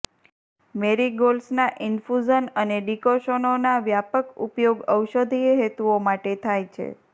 મેરીગોલ્ડ્સના infusion અને ડીકોશનોનો વ્યાપક ઉપયોગ ઔષધીય હેતુઓ માટે થાય છે